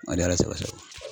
Ani Ala sago sago